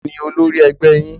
Taàní ólori ẹgbẹ́ yín?